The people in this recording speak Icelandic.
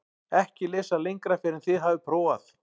EKKI LESA LENGRA FYRR EN ÞIÐ HAFIÐ PRÓFAÐ